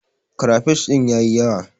Krafish din ya yi yawa.